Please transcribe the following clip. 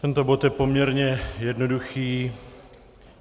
Tento bod je poměrně jednoduchý.